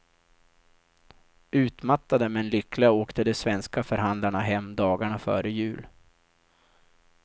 Utmattade men lyckliga åkte de svenska förhandlarna hem dagarna före jul.